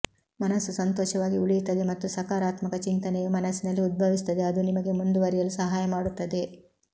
ಮನಸ್ಸು ಸಂತೋಷವಾಗಿ ಉಳಿಯುತ್ತದೆ ಮತ್ತು ಸಕಾರಾತ್ಮಕ ಚಿಂತನೆಯು ಮನಸ್ಸಿನಲ್ಲಿ ಉದ್ಭವಿಸುತ್ತದೆ ಅದು ನಿಮಗೆ ಮುಂದುವರಿಯಲು ಸಹಾಯ ಮಾಡುತ್ತದೆ